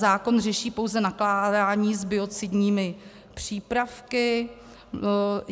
Zákon řeší pouze nakládání s biocidními přípravky.